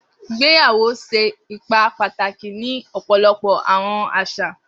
Igbeyawo ṣe ipa pataki ni ọpọlọpọ àwọn aṣa.